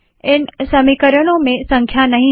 इन समीकरणों में संख्या नहीं है